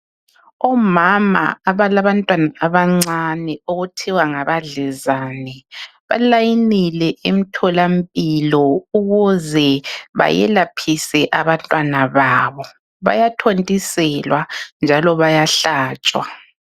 Omama abalabantwana abancane okuthiwa ngabadlezane, balayinile emtholampilo ukuze bayelaphise abantwana babo. Bayathontiselwa njalo bayahlatshwa.